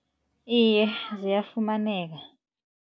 Iye, ziyafumaneka.